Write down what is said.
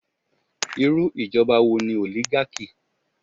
Irú ìjọba wo ni oligarchy?